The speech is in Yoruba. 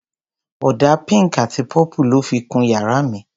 Ọ̀dà pink àti purple lọ́ fi kun yàrá mi.